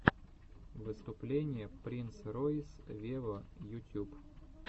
выступление принц ройс вево ютюб